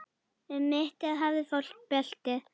Um mittið hafði fólk belti.